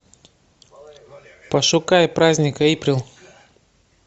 пошукай праздник эйприл